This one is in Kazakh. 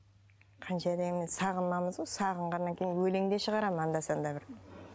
қанша дегенмен сағынамыз ғой сағынғаннан кейін өлең де шығарамын анда санда бір